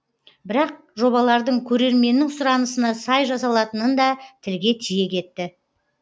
бірақ жобалардың көрерменнің сұранысына сай жасалатынын да тілге тиек етті